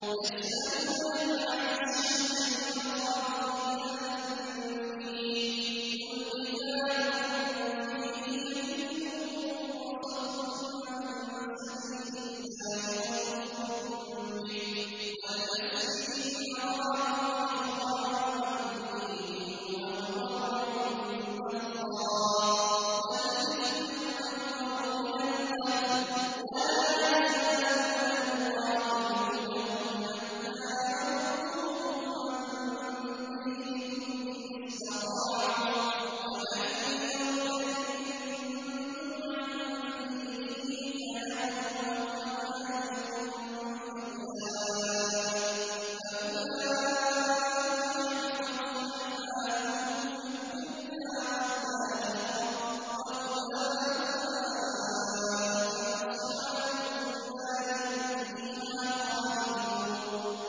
يَسْأَلُونَكَ عَنِ الشَّهْرِ الْحَرَامِ قِتَالٍ فِيهِ ۖ قُلْ قِتَالٌ فِيهِ كَبِيرٌ ۖ وَصَدٌّ عَن سَبِيلِ اللَّهِ وَكُفْرٌ بِهِ وَالْمَسْجِدِ الْحَرَامِ وَإِخْرَاجُ أَهْلِهِ مِنْهُ أَكْبَرُ عِندَ اللَّهِ ۚ وَالْفِتْنَةُ أَكْبَرُ مِنَ الْقَتْلِ ۗ وَلَا يَزَالُونَ يُقَاتِلُونَكُمْ حَتَّىٰ يَرُدُّوكُمْ عَن دِينِكُمْ إِنِ اسْتَطَاعُوا ۚ وَمَن يَرْتَدِدْ مِنكُمْ عَن دِينِهِ فَيَمُتْ وَهُوَ كَافِرٌ فَأُولَٰئِكَ حَبِطَتْ أَعْمَالُهُمْ فِي الدُّنْيَا وَالْآخِرَةِ ۖ وَأُولَٰئِكَ أَصْحَابُ النَّارِ ۖ هُمْ فِيهَا خَالِدُونَ